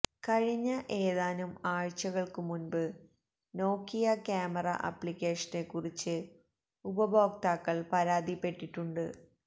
കഴിഞ്ഞ ഏതാനും ആഴ്ചകള്ക്കു മുന്പ് നോക്കിയ ക്യാമറ ആപ്ലിക്കേഷനെ കുറിച്ച് ഉപഭോക്താക്കള് പരാതിപെട്ടിട്ടുണ്ട്